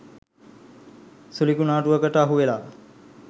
සුළි කුනා‍ටුවකට අහුවෙලා